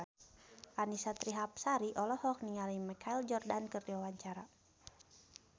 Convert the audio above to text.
Annisa Trihapsari olohok ningali Michael Jordan keur diwawancara